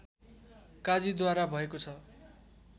काजीद्वारा भएको छ